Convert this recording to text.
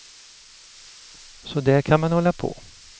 Så där kan man hålla på.